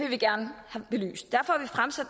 vi gerne have belyst